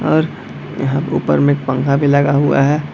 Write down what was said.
और यहाँ ऊपर में एक पंखा भी लगा हुआ है।